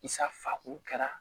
Isa faa ko kɛra